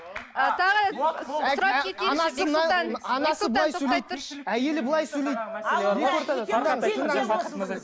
әйелі былай сөйлейді